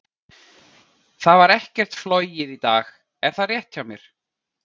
Það var ekkert flogið í dag, er það rétt hjá mér?